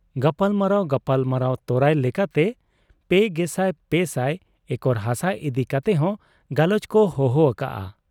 ᱜᱟᱞᱢᱟᱨᱟᱣ ᱜᱟᱞᱢᱟᱨᱟᱣ ᱛᱚᱨᱟᱭ ᱞᱮᱠᱟᱛᱮ ᱓᱓᱐᱐ ᱮᱠᱚᱨ ᱦᱟᱥᱟ ᱤᱫᱤ ᱠᱟᱛᱮᱦᱚᱸ ᱜᱟᱞᱚᱪᱠᱚ ᱪᱚᱦᱚᱣᱟᱠᱟᱜ ᱟ ᱾